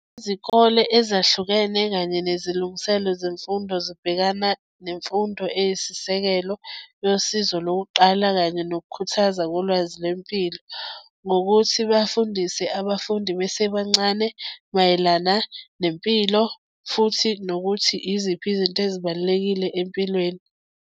Izikole ezahlukene kanye nezilungiselo zemfundo zibhekana nemfundo eyisisekelo yosizo lokuqala kanye nokukhuthaza kolwazi lempilo ngokuthi bafundise abafundi besebancane mayelana nempilo futhi nokuthi iziphi izinto ezibalulekile empilweni.